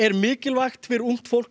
mikilvægur fyrir ungt fólk